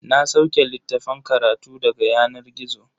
Na sauke littafan karatu daga yanar gizo.